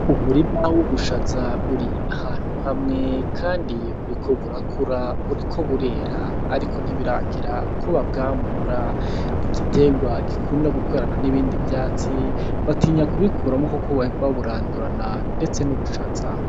Umurima w'ubushaza uri ahantu hamwe kandi buriko burakura buriko burera, ariko ntibiragera ko babwamura, ni igiterwa gikunda gukurana nibindi vyatsi batinya kubikuramwo kuko bohava baburandurana ndetse n'ubushaza.